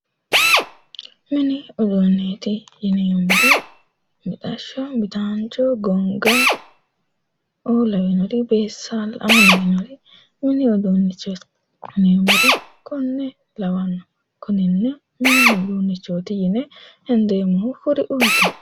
Mini uduuneeti yineemoti mixasho midaanicho gonigga beessaalaoo lawinori woleno konne lawannore mini uduunichooti yine hendeemo kuriuuti